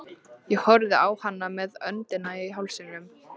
Ég horfði á hana með öndina í hálsinum.